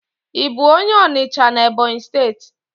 I bu onye Onicha na Ebonyi steeti?